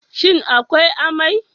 Shin akwai amai?